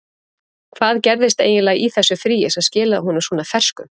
Hvað gerðist eiginlega í þessu fríi sem skilaði honum svona ferskum?